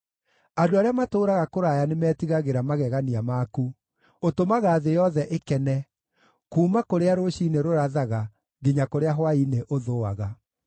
Andũ arĩa matũũraga kũraya nĩmetigagĩra magegania maku; ũtũmaga thĩ yothe ĩkene, kuuma kũrĩa rũciinĩ rũrathaga nginya kũrĩa hwaĩ-inĩ ũthũaga.